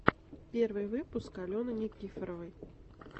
первый выпуск алены никифоровой